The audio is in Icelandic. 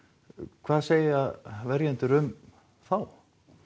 hvað segja verjendur um þá